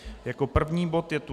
Jako první bod je tu